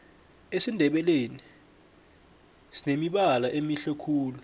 esindebeleni sinemibala emihle khulu